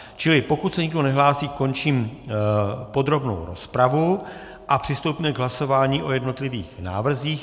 Čili pokud se nikdo nehlásí, končím podrobnou rozpravu a přistoupíme k hlasování o jednotlivých návrzích.